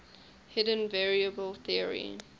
hidden variable theory